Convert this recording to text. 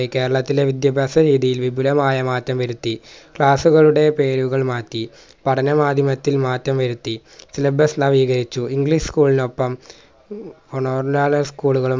കേരളത്തിലെ വിദ്യഭ്യാസ രീതിയിൽ വിപുലമായ മാറ്റം വരുത്തി class ഉകളുടെ പേരുകൾ മാറ്റി പഠനമാധ്യമത്തിൽ മാറ്റം വരുത്തി clubs നവീകരിച്ചു english നൊപ്പം school കളും